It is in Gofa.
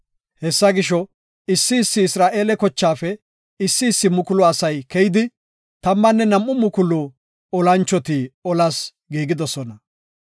Hessa gisho, issi issi Isra7eele kochaafe issi issi mukulu asay keyidi, tammanne nam7u mukulu olanchoti olas giigidosona.